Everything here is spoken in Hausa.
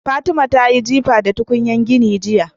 Fatima tayi jifa da tukunyar gini jiya